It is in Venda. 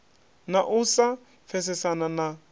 na u sa pfesesana na